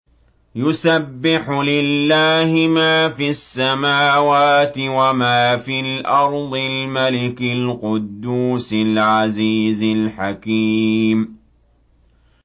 يُسَبِّحُ لِلَّهِ مَا فِي السَّمَاوَاتِ وَمَا فِي الْأَرْضِ الْمَلِكِ الْقُدُّوسِ الْعَزِيزِ الْحَكِيمِ